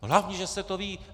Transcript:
Hlavně, že se to ví!